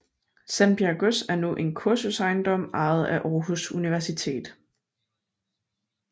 Sandbjerg Gods er nu en kursusejendom ejet af Aarhus Universitet